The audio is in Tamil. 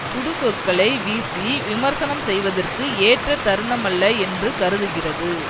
சுடுசொற்களை வீசி விமர்சனம் செய்வதற்கு ஏற்ற தருணமல்ல என்று கருதுகிறது